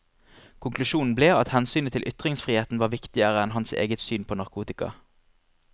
Konklusjonen ble at hensynet til ytringsfriheten var viktigere enn hans eget syn på narkotika.